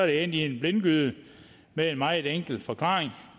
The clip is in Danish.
endt i en blindgyde med en meget enkel forklaring